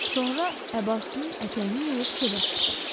Sonra əbasının ətəyini yığıb çölə çıxdı.